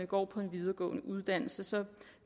går på en videregående uddannelse så